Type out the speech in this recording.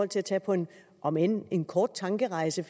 til at tage på en om end end kort tankerejse